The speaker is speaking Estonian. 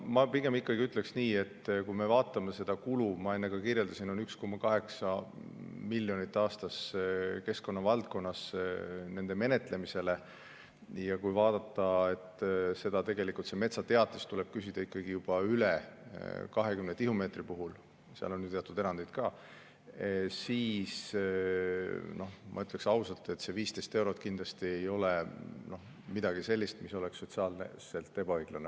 Ma pigem ütleksin nii, et kui me vaatame seda kulu, mis, nagu ma enne ka kirjeldasin, on 1,8 miljonit aastas keskkonna valdkonnas nende menetlemisele, ja kui vaadata, et metsateatist tuleb küsida ikkagi juba üle 20 tihumeetri puhul, seal on küll teatud erandeid ka, siis ma ütlen ausalt, et see 15 eurot kindlasti ei ole midagi sellist, mis oleks sotsiaalselt ebaõiglane.